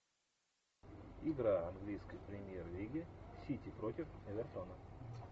игра английской премьер лиги сити против эвертона